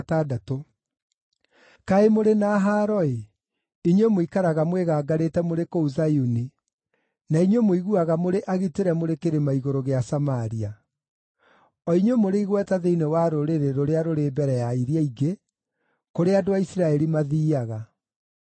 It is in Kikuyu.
Kaĩ mũrĩ na haaro-ĩ! inyuĩ mũikaraga mwĩgangarĩte mũrĩ kũu Zayuni, na inyuĩ mũiguaga mũrĩ agitĩre mũrĩ kĩrĩma-igũrũ gĩa Samaria; o inyuĩ mũrĩ igweta thĩinĩ wa rũrĩrĩ rũrĩa rũrĩ mbere ya iria ingĩ, kũrĩa andũ a Isiraeli mathiiaga.